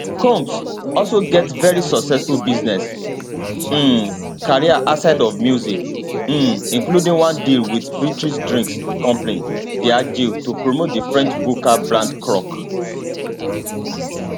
combs also get very successful business um career outside of music um including one deal wit british drinks company diageo to promote di french vodka brand croc